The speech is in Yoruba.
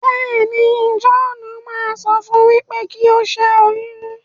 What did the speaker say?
béèni, John má sọ fún u pé kí o ṣẹyun.